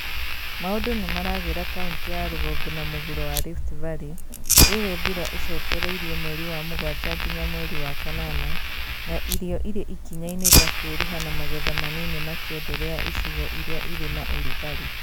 Maũndũ nĩ maragĩra kauntĩ ya rũgongo na mũhuro wa Rift Valley rĩrĩ mbura ĩcokereirie mweri wa mũgwanja nginya mweri wa kanana na irio irĩ ikinya-inĩ rĩa kwĩruha na magetha manini makĩenderea icigo iria cirĩ na ũrugarĩ